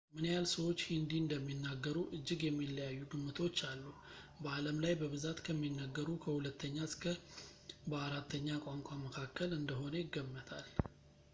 ምን ያህል ሰዎች ሂንዲ እንደሚናገሩ እጅግ የሚለያዩ ግምቶች አሉ በዓለም ላይ በብዛት ከሚነገሩ ከሁለተኛ እስከ በአራተኛ ቋንቋ መካከል እንደሆነ ይገመታል